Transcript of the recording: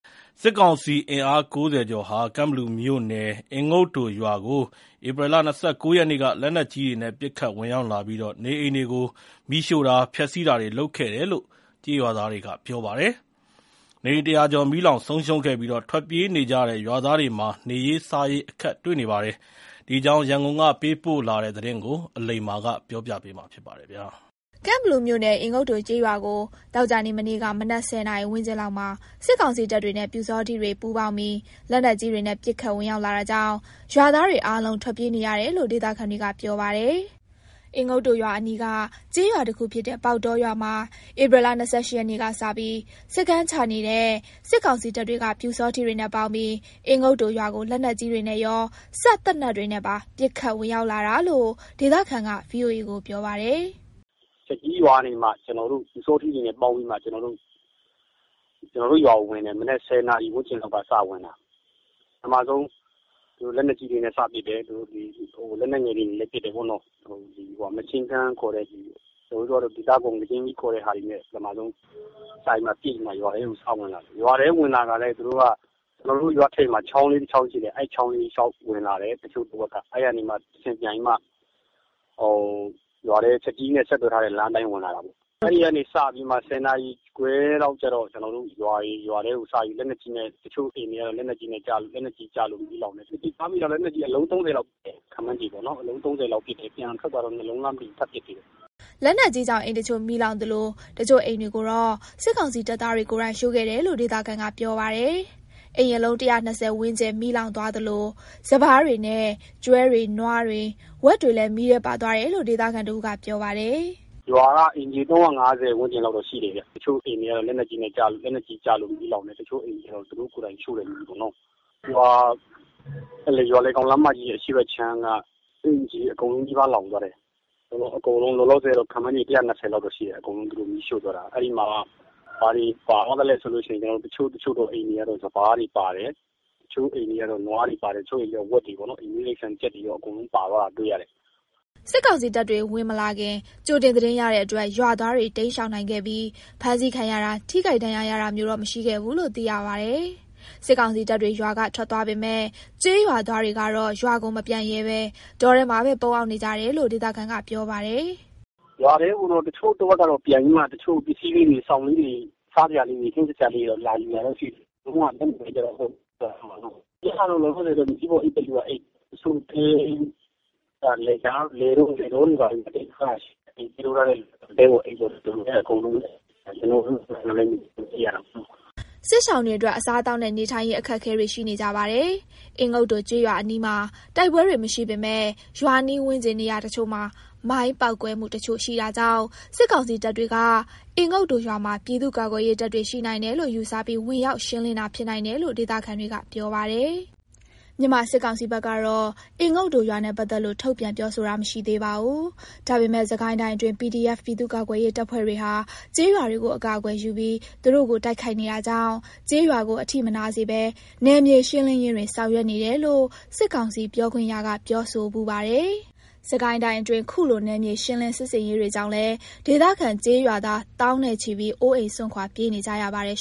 စစ်ကောင်စီအင်အား ၉၀ ကျော်ဟာ ကန့်ဘလူမြို့နယ် အင်ငုတ်တိုရွာကို ဧပြီလ ၂၉ ရက်နေ့က လက်နက်ကြီးတွေနဲ့ ပစ်ခတ်ဝင်ရောက်လာပြီး နေအိမ်တွေကို မီးရှို့တာ၊ ဖျက်ဆီးတာတွေ လုပ်ခဲ့တယ်လို့ ကျေးရွာသားတွေက ပြောပါတယ်။ နေအိမ် ၁၀၀ ကျော် မီးလောင်ဆုံးရှုံးခဲ့ပြီး ထွက်ပြေးနေကြရတဲ့ ရွာသားတွေမှာ နေရေးစားရေး အခက်တွေ့နေပါတယ်။ ဒီအကြောင်း ရန်ကုန်က သတင်းပေးပို့တာကို အလိမ္မာ ပြောပြမှာပါ။ ကန့်ဘလူမြို့နယ် အင်ငုတ်တိုကျေးရွာကို သောကြာနေ့ မနေ့က မနက် ၁၀ နာရီ ဝန်းကျင်လောက်မှာ စစ်ကောင်စီတပ်တွေနဲ့ ပျူစောထီးတွေ ပူးပေါင်းပြီး လက်နက်ကြီးတွေနဲ့ ပစ်ခတ်ဝင်ရောက်လာတာကြောင့် ရွာသားတွေအားလုံး ထွက်ပြေးနေရတယ်လို့ ဒေသခံတွေက ပြောပါတယ်။ အင်ငုတ်တိုရွာအနီးက ကျေးရွာတခုဖြစ်တဲ့ ပေါက်တောရွာမှာ ဧပြီ ၂၈ ရက်နေ့ကစပြီး စခန်းချနေတဲ့ စစ်ကောင်စီတပ်တွေက ပျူစောထီးတွေနဲ့ ပေါင်းပြီး အင်ငုတ်တိုရွာကို လက်နက်ကြီးတွေနဲ့ရော စက်သေနတ်တွေနဲ့ပါ ပစ်ခတ်ဝင်ရောက်လာတာလို့ ဒေသခံက ဗွီအိုအေကို ပြောပါတယ်။ “သူတို့က ချက်ကြီးရွာက ပျူစောထီးတွေနဲ့ ပေါင်းပြီးတော့ ကျနော်တို့ရွာကို ဝင်တယ်။ မနက် ၁၀ နာရီလောက်က စဝင်တာ။ ပထမဆုံး သူတို့ လက်နက်ကြီးတွေနဲ့ စပစ်တယ်။ နောက် လက်နက်ငယ်တွေနဲ့လည်း ပစ်တယ်ပေါ့နော်။ Machine Gun ခေါ်တဲ့ဟာပေါ့၊ အဲ့ဒါတွေနဲ့ ပစ်တယ်။ အဲ့လို စပစ်ပြီးတော့မှ သူတို့က ရွာထဲဝင်လာတယ်။ ရွာထဲဝင်လာတော့ သူတို့တွေက ကျနော်တို့ရွာထိပ်မှာ ချောင်းလေးတချောင်း ရှိတယ်။ အဲ့ဒီ ချောင်းလေးအတိုင်း ဝင်လာတယ် တချို့တဝက်က။ တချို့က အဲ့ကနေမှ ပြန်ပြီးမှ ရွာထဲကို ချက်ကြီးနဲ့ ဆက်သွယ်ထားတဲ့ လမ်းအတိုင်း ဝင်လာတာပေါ့။ အဲ့ဒီကနေစပြီးမှ ၁၀ နာရီခွဲလောက်ကျတော့ ရွာထဲကို လက်နက်ကြီးနဲ့ပစ်တယ်။ တချို့အိမ်တွေကတော့ လက်နက်ကြီးကျလို့ မီးလောင်တယ်။ ကျနော်ကြားမိတာတော့ လက်နက်ကြီးက အလုံး ၃၀ လောက် ပစ်တယ်၊ ခန့်မှန်းပေါ့နော်။ ပြန်ထွက်သွားတော့ ၂ လုံးလားမသိဘူး ထပ်ပစ်သေးတယ်။” လက်နက်ကြီးကြောင့် အိမ်တချို့ မီးလောင်သလို တချို့အိမ်တွေကိုတော့ စစ်ကောင်စီတပ်သားတွေ ကိုယ်တိုင် ရှို့ခဲ့တယ်လို့ ဒေသခံက ပြောပါတယ်။ အိမ်အလုံး ၁၂၀ ဝန်းကျင် မီးလောင်သွားသလို စပါးတွေနဲ့ ကျွဲတွေနွားတွေဝက်တွေလည်း မီးထဲပါသွားတယ်လို့ ဒေသခံတဦးက ပြောပါတယ်။ “ရွာက အိမ်ခြေ ၃၅၀ လောက်တော့ ရှိတယ်ဗျ။ တချို့အိမ်တွေကတော့ လက်နက်ကြီးကျလို့ မီးလောင်တယ်။ တချို့အိမ်တွေကျတော့ သူတို့ကိုယ်တိုင် ရှို့တာပေါ့။ ရွာလယ်ကောင်လမ်းမကြီးရဲ့ အရှေ့ဘက်အခြမ်းက အိမ်ခြေအကုန်လုံးနီးပါး လောင်သွားတယ်။ လောလောဆယ် အကုန်လုံး လောင်သွားတာက ၁၂၀ လောက်တော့ ရှိတယ်။ သူတို့ရှို့သွားတာ။ အဲ့မှာလောင်သွားတာက ဘာတွေပါသွားသလဲဆိုတော့ တချို့တချို့သော အိမ်တွေက စပါးတွေပါတယ်။ တချို့အိမ်တွေက နွားတွေ၊ တချို့အိမ်တွေက ဝက်တွေပေါ့နော်။ အိမ်မွေးတိရစ္ဆာန်တွေ ကြက်တွေရော အကုန်ပါသွားတာ တွေ့တယ်။” စစ်ကောင်စီတပ်တွေ ဝင်မလာခင် ကြိုတင်သတင်းရတဲ့အတွက် ရွာသားတွေ ရှောင်တိမ်းနိုင်ခဲ့ပြီး ဖမ်းဆီးခံရတာ ထိခိုက်ဒဏ်ရာရတာမျိုး မရှိခဲ့ဘူးလို့ သိရပါတယ်။ စစ်ကောင်စီတပ်တွေ ရွာကထွက်သွားပေမဲ့ ကျေးရွာသားတွေကတော့ ရွာကိုမပြန်ရဲဘဲ တောထဲမှာပဲ ပုန်းအောင်နေကြရတယ်လို့ ဒေသခံက ပြောပါတယ်။ “ရွာထဲကိုတော့ တချို့တဝက်ကတော့ ပြန်ပြီးတော့ ပစ္စည်းလေးတွေ၊ စောင်လေးတွေ၊ စားစရာလေးတွေ လာယူတာတော့ ရှိတယ်။ ပြန်လာလို့တော့ မရသေးဘူးပေါ့။ ခုလောလောဆယ်ကတော့ မြေကြီးပေါ်အိပ်တဲ့သူကအိပ်၊ တချို့တွေကလည်း လယ်တောတွေ ဘာတွေမှာပေါ့။ အားလုံးကတော့ ဒီလိုပဲ အဆင်ပြေသလို လုပ်ပြီးပဲ နေကြရတာပေါ့။” စစ်ရှောင်တွေအတွက် အစားအသောက်နဲ့ နေထိုင်ရေး အခက်အခဲတွေ ရှိနေကြပါတယ်။ အင်ငုတ်တိုရွာအနီးမှာ တိုက်ပွဲတွေ မရှိပေမဲ့ ရွာနီးဝန်းကျင် နေရာတချို့မှာ မိုင်းပေါက်ကွဲမှုတချို့ ရှိတာကြောင့် စစ်ကောင်စီတပ်တွေက အင်ငုတ်တိုရွာမှာ ပြည်သူ့ကာကွယ်ရေးတပ်တွေ ရှိနိုင်တယ်လို့ ယူဆပြီး ဝင်ရောက်ရှင်းလင်းတာ ဖြစ်နိုင်တယ်လို့ ဒေသခံတွေက ပြောပါတယ်။ မြန်မာစစ်ကောင်စီဘက်ကတော့ အင်ငုတ်တိုရွာနဲ့ ပတ်သက်လို့ ထုတ်ပြန်ပြောဆိုတာ မရှိသေးပါဘူး။ ဒါပေမဲ့ စစ်ကိုင်းတိုင်းအတွင်း PDF ပြည်သူ့ကာကွယ်ရေးတပ်ဖွဲ့တွေဟာ ကျေးရွာတွေကို အကာအကွယ်ယူပြီး သူတို့ကို တိုက်ခိုက်နေတာကြောင့် ကျေးရွာကို အထိမနာစေဘဲ နယ်မြေရှင်းလင်းရေးတွေ ဆောင်ရွက်နေတယ်လို့ စစ်ကောင်စီပြောခွင့်ရက ပြောဆိုဖူးပါတယ်။ စစ်ကိုင်းတိုင်းအတွင်း ခုလို နယ်မြေရှင်းလင်း စစ်ဆင်ရေးတွေကြောင့်လည်း ဒေသခံကျေးရွာသား သောင်းနဲ့ချီပြီး အိုးအိမ်စွန့်ခွာ ပြေးနေကြရပါတယ်